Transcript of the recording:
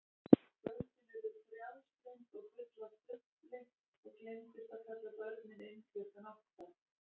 Kvöldin urðu frjálslynd og full af dufli og gleymdist að kalla börnin inn klukkan átta.